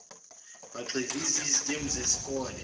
begxiviza izitembu zezikole